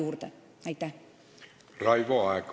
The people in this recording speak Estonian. Raivo Aeg, palun!